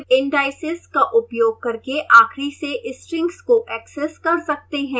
negative indices का उपयोग करके आखिरी से strings को ऐक्सेस कर सकते हैं